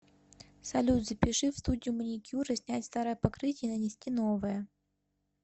салют запиши в студию маникюра снять старое покрытие и нанести новое